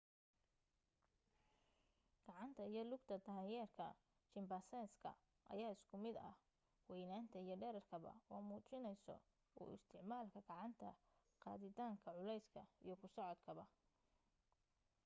gacanta iyo lugta danyeerka chimpanzee-ga ayaa isku mid ka ah weynaanta iyo dheerarkaba oo muujinayso u isticmaalka gacanta qaaditaanka culeyska iyo ku socodkaba